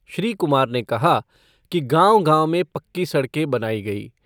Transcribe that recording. श्री कुमार ने कहा कि गाँव गाँव में पक्की सड़कें बनाई गईं।